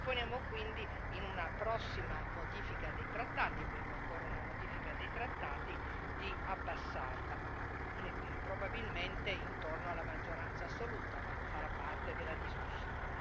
Proponiamo quindi, in una prossima modifica dei trattati perché occorre una modifica dei trattati di abbassarla, probabilmente intorno alla maggioranza assoluta, ma farà parte della discussione.